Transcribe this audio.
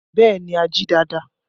Bẹẹ ni, a jí dáadáa